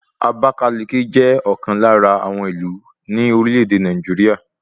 Àbákáliki jẹ́ ọ̀kan lára àwọn ìlú ní orílẹ̀ èdè Nàìjíríà